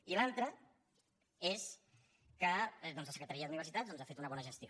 i l’altra és que la secretaria d’universitats doncs ha fet una bona gestió